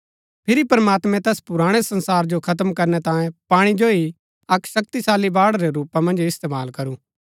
फिरी प्रमात्मैं तैस पुराणै संसार जो खत्म करनै तांये पाणी जो ही अक्क शक्तिशाली बाढ़ रै रूपा मन्ज इस्तेमाल करू